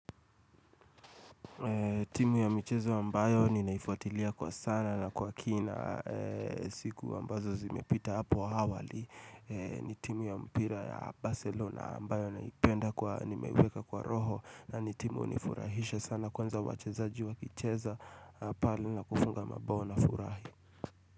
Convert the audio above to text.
Timu ya michezo ambayo ninaifuatilia kwa sana na kwa kina siku ambazo zimepita hapo awali ni timu ya mpira ya Barcelona ambayo naipenda kwa nimeweka kwa roho na ni timu hunifurahisha sana kwanza wachezaji wakicheza pale na kufunga mabao nafurahi.